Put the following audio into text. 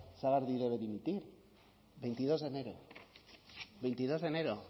sagardui debe dimitir veintidós de enero veintidós de enero